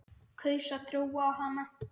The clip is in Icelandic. Kaus að trúa á hana.